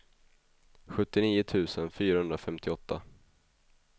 sjuttionio tusen fyrahundrafemtioåtta